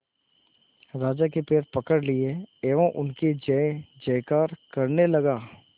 राजा के पैर पकड़ लिए एवं उनकी जय जयकार करने लगा